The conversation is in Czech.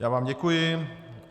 Já vám děkuji.